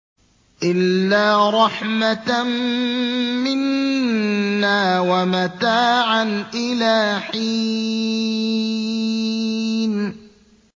إِلَّا رَحْمَةً مِّنَّا وَمَتَاعًا إِلَىٰ حِينٍ